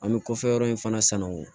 An bɛ kɔfɛ yɔrɔ in fana sanu